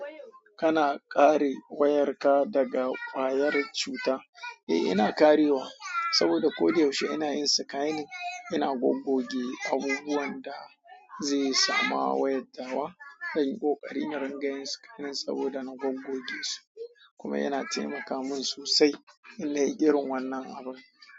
Kana kare wayarka daga ƙwayar cuta? Eh, ina karewa saboda koyaushe ina yin scanning, ina goggoge abubuwan da zai samu wayar ta wa. Zan yi ƙoƙari na rinƙa yin scanning saboda na goggoge su kuma yana taimaka min sosai irin wannan abun.